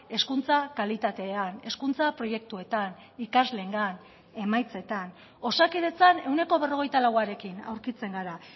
hezkuntza kalitatean hezkuntza proiektuetan ikasleengan emaitzetan osakidetzan ehuneko berrogeita lauarekin aurkitzen gara